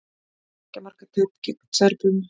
Tveggja marka tap gegn Serbum